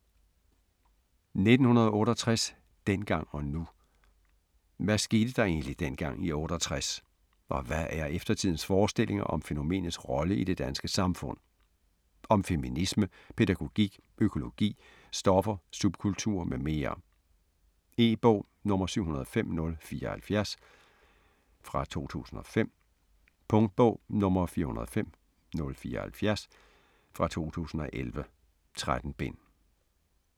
1968: dengang og nu Hvad skete der egentlig dengang i '68 - og hvad er eftertidens forestillinger om fænomenets rolle i det danske samfund. Om feminisme, pædagogik, økologi, stoffer, subkultur, m.m. E-bog 705074 2005. Punktbog 405074 2011. 13 bind.